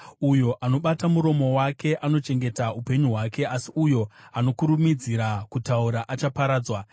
Uyo anobata muromo wake anochengeta upenyu hwake, asi uyo anokurumidzira kutaura achaparadzwa.